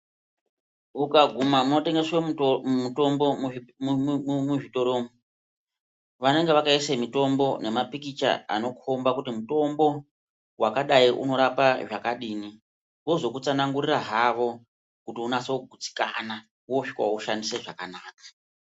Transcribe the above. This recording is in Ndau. Ukaguma motengeswe mutombo, muzvitoro umu, vanenge vakaise mitombo nemapikicha anokomba kuti mutombo wakadai unorapa zvakadini, vozokutsanangurira havo kuti unasokugutsikana, wosvika woushandise zvakanaka.